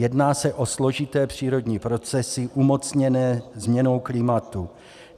Jedná se o složité přírodní procesy umocněné změnou klimatu.